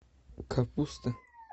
капуста